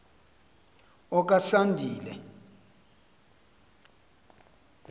okasandile